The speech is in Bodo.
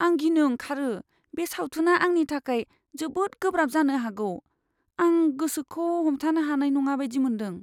आं गिनो ओंखारो बे सावथुना आंनि थाखाय जोबोद गोब्राब जानो हागौ। आं गोसोखौ हमथानो हानाय नङा बायदि मोनदों!